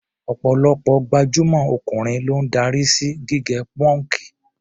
Ọ̀pọ̀lọpọ̀ gbajúmọ̀ ọkùnrin ló ń darí sí gígẹ pọ́ǹkì.